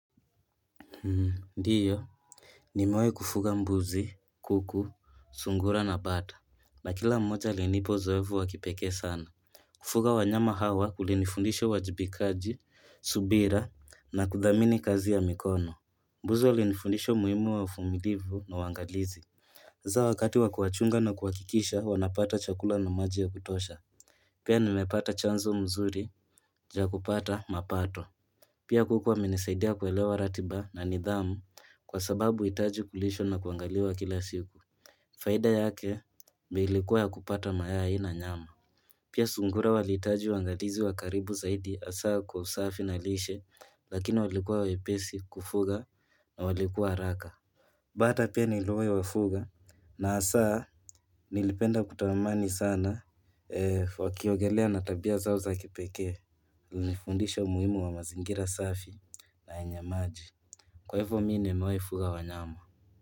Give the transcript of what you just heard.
Ndiyo. Nimewahi kufuga mbuzi, kuku, sungura na bata. Na kila mmoja alinipa zoefu wakipeke sana. Kufuga wanyama hawa kulinifundishe wajibikaji, subira na kudhamini kazi ya mikono. Mbuzi walinifundisha umuhimu wa uvumliivu na wangalizi. Za wakati wakuwachunga na kuwakikisha wanapata chakula na maji ya kutosha. Pia nimepata chanzo mzuri ja kupata mapato. Pia kukua menesaidia kuelewa ratiba na nidhamu kwa sababu itaji kulishwa na kuangaliwa kila siku. Faida yake meilikuwa ya kupata maya na nyama. Pia sungura walitaji uangalizi wakaribu zaidi asaa kwa usafi na lishe lakini walikuwa wepesi kufuga na walikuwa raka. Bata pia nilue wafuga na asaa nilipenda kutawamani sana wakiogelea natabia zao za kipeke. Niunifundisha muhimu wa mazingira safi na inyamaji Kwa hivyo mi nimewai mewefuga wa nyama.